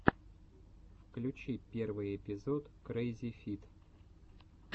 включи первый эпизод крэззифид